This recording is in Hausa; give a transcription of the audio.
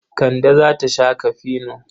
Kande za ta sha kafino.